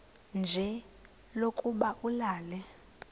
nje lokuba ulale